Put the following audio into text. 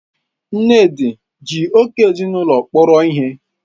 Nnedi ji oge ezinụlọ kpọrọ ihe?